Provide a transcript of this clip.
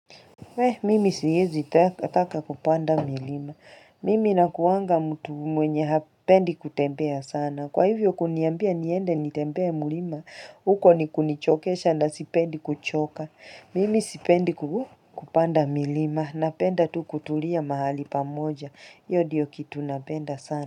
Weh, mimi siezi taka kupanda milima. Mimi nakuanga mtu mwenye hapendi kutembea sana. Kwa hivyo kuniambia niende nitembee mlima, huko ni kunichokesha na sipendi kuchoka. Mimi sipendi kupanda milima. Napenda tu kutulia mahali pamoja. Iyo diyo kitu napenda sana.